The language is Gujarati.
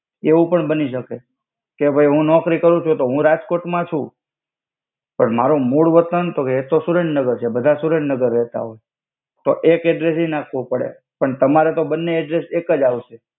એવુ પણ બની સકે કે ભઈ હુ નોકરી કરુ છુ તો હુ રાજ્કોત મા છુ પણ મારુ મુદ વતાન તો કે એતો સુરેન્નગર છે બધા સુરેન્નગર રેતા હોય તો એક એડ્રેસ્સ એ નાખ્વુ પડે પણ તમારે તો બાને એડ્રેસ્સ એક્જ આવસે.